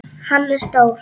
Hann er stór.